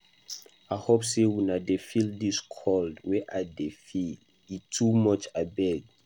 I hope say una dey feel dis cold wey I dey feel. E too much abeg.